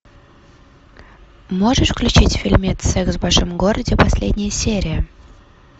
можешь включить фильмец секс в большом городе последняя серия